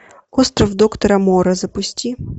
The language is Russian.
остров доктора моро запусти